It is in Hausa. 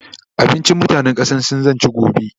abincin ƙasan mutanan sin zan ci gobe